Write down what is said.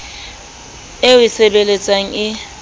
eo o e sebeletsang e